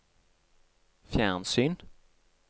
fjernsyn